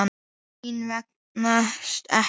Mínar vegast ekki.